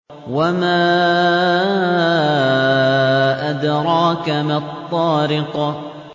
وَمَا أَدْرَاكَ مَا الطَّارِقُ